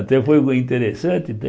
Até foi interessante, né...